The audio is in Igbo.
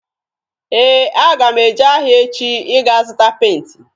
Ee, aga m eje ahịa echi ịga zụta penti.